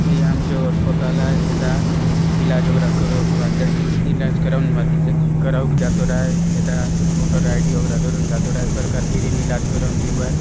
ये आमचो अस्पताल हैंएटा इलाज वागेर करो इलाज कराईं जातो राई एता मोटर आइडी वागेर देरून जाते राय सरकार फ्री इलाज करून देवराय ।